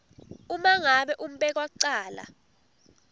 uma ngabe umbekwacala